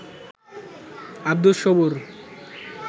Abdus Sabur